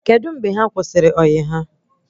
Kedụ mgbe ha kwụsịrị ọyị ha?